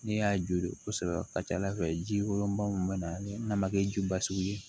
Ne y'a jore kosɛbɛ ka ca ala fɛ ji kolonba min bɛ na ni n'a ma kɛ ji ba sugu ye